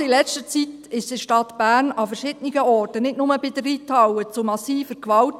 Gerade in letzter Zeit kam es in der Stadt Bern an verschiedenen Orten, nicht nur bei der Reithalle, zu massiver Gewalt.